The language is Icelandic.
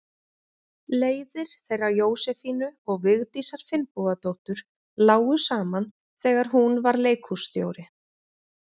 Leiðir þeirra Jósefínu og Vigdísar Finnbogadóttur lágu saman þegar hún var leikhússtjóri.